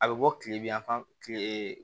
A bɛ bɔ kile bi yan fan tile